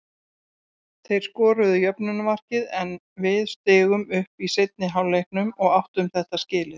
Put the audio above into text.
Þeir skoruðu jöfnunarmarkið en við stigum upp í seinni hálfleiknum og áttu þetta skilið.